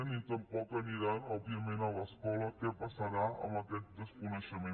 ni tampoc aniran òbviament a l’escola què passarà amb aquest desconeixement